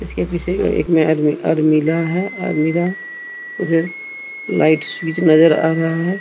इसके पीछे एक नया अलमीरा अलमीरा है अलमीरा उधर लाइट स्विच नजर आ रहा है।